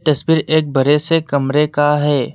तस्वीर एक बड़े से कमरे का है।